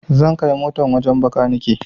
Zan kai motan wajen makaniki